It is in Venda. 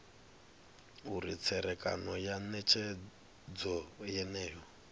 uri tserekano ya netshedzo yeneyo